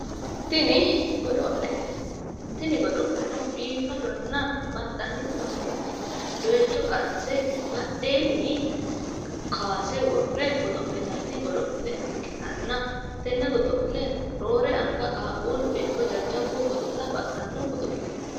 Tini godo'lete tini godo'leno biifadonna banxanni godo'leeti doyiichcho qanse badheenni kaase worre godo'linanni godo'le ikkitanna tenne godo'le roore anga qaaqquullu ikko jajjabbu godo'la baxxanno godo'leeti